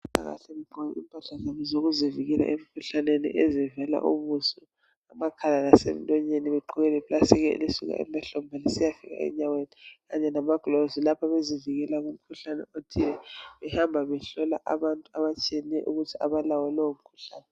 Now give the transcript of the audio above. Owezempilakahle ugqoke impahla zokuzivikela emkhuhlaneni ezivala ubuso , amakhala lasemlonyeni begqoke le plastic elisuka emahlombe kusiyafika enyaweni kanye lama glovisi lapho bezivikela kumikhuhlane othe , behamba behlola abantu abatshiyeneyo ukuze abalawo lowo mkhuhlane